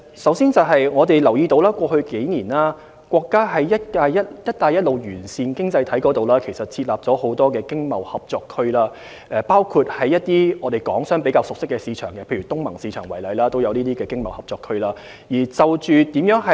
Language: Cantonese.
首先，我們留意到在過去數年，國家在"一帶一路"沿線經濟體設立了很多經貿合作區，包括在一些港商比較熟識的市場如東盟市場設立的經貿合作區。